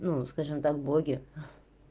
ну скажем так боги ха